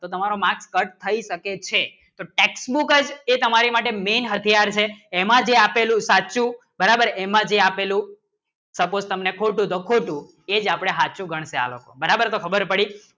તો તમારો marks cut થઈ શકે છે એમાં જે આપેલું સાચું બરાબર એમાં જે આપેલું સપોર્ટ તમને ખોટું તો ખોટું એ જ આપણે સાચું ગણતા બરાબર તો ખબર પડી